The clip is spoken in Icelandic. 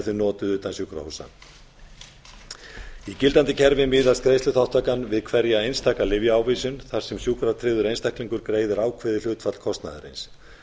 þau notuð utan sjúkrahúsanna í gildandi kerfi miðast greiðsluþátttaka við hverja einstaka lyfjaávísun þar sem sjúkratryggður einstaklingur gerðar ákveðið hlutfall kostnaðarins